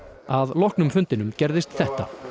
að loknum fundinum gerðist þetta